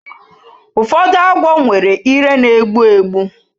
Ụfọdụ agwọ nwere ire na-egbu egbu